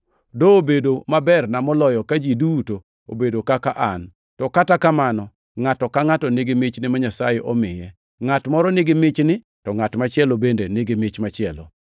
Dobedo maberna moloyo ka ji duto obedo kaka an, to kata kamano, ngʼato ka ngʼato nigi michne ma Nyasaye omiye, ngʼat moro nigi michni, to ngʼat machielo bende nigi mich machielo.